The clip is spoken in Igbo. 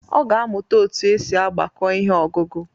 Ọ ga-amuta otu esi agbako ihe ọgụgụ.